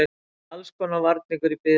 Allskonar varningur í biðröðinni.